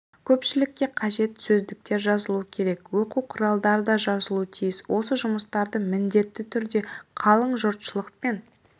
көпшілікке қажет сөздіктер жазылуы керек оқу құралдары да жазылу тиіс осы жұмыстарды міндетті түрде қалың жұртшылықпен